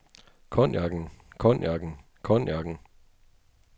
cognacen cognacen cognacen